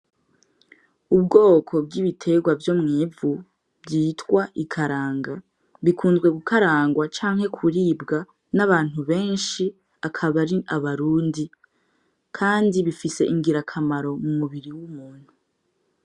Ubwoko bw'ibiterwa vyo mw'ivu bwitwa ikaranga , bikunzwe gukarangwa canke kuribwa n'abantu benshi akaba ari abarundi, kandi bifise ingirakamaro mu mubiri w'umuntu.